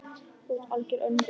Þú ert algert öngvit!